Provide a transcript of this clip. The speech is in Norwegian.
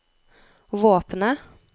våpenet